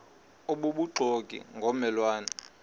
obubuxoki ngomme lwane